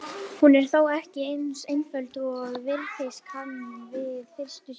Hún er þó ekki eins einföld og virðast kann við fyrstu sýn.